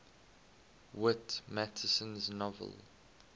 whit masterson's novel